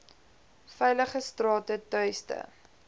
veilige strate tuiste